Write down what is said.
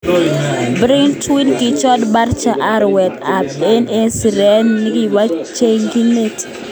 Braithwaite kichut Barca arawet ab aeng eng siret nigibo chogchinet.